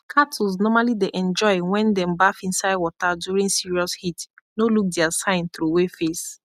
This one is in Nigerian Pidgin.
cattles normally dey enjoy when them baff inside water during serious heat no look their sign throw way face